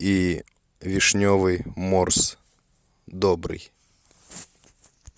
и вишневый морс добрый